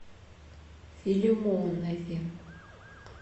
филимонове